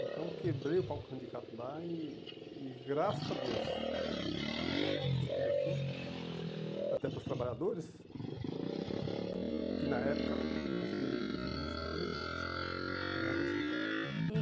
Então, quebrei o pau com sindicato lá e, e graças a Deus, eu digo assim, até para os trabalhadores, que na época preferi preferiram decidir pela empresa e não pelo sindicato. E